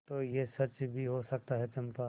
तो यह सच भी हो सकता है चंपा